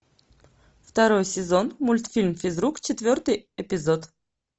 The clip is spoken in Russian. второй сезон мультфильм физрук четвертый эпизод